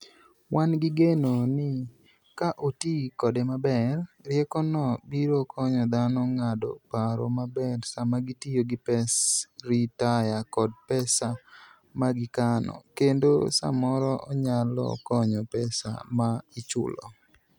Wan gi geno ni ka oti kode maber, riekono biro konyo dhano ng'ado paro maber sama gitiyo gi pes ritaya kod pesa ma gikano - kendo samoro onyalo konyo pesa ma ichulo!